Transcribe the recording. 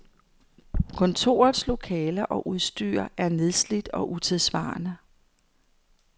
Kontorets lokaler og udstyr nedslidt og utidssvarende.